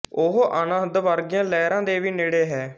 ਉਹ ਅਨਹਦ ਵਰਗੀਆਂ ਲਹਿਰਾਂ ਦੇ ਵੀ ਨੇੜੇ ਹੈ